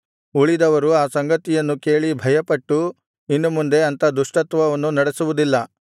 ಉಳಿದವರು ಆ ಸಂಗತಿಯನ್ನು ಕೇಳಿ ಭಯಪಟ್ಟು ಇನ್ನು ಮುಂದೆ ಅಂಥ ದುಷ್ಟತ್ವವನ್ನು ನಡೆಸುವುದಿಲ್ಲ